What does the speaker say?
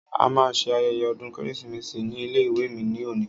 A ma ṣe ayẹyẹ ọdún kérésì ní ilé ìwé mi ní òní.